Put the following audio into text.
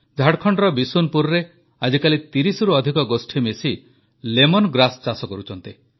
ଝାଡ଼ଖଣ୍ଡର ବିଶୁନପୁରରେ ଆଜିକାଲି 30ରୁ ଅଧିକ ଗୋଷ୍ଠୀ ମିଶି ଲେମନ ଗ୍ରାସ୍ ଚାଷ କରୁଛନ୍ତି